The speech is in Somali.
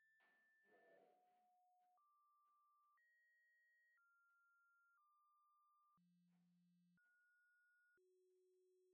Bugga Aaragtiyaha Aadanaha waxay bixisaa liiska soo socda ee astamaha iyo calaamadaha cudurka SAPHOGA.